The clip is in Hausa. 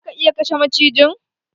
Za ka iya kashe macijin?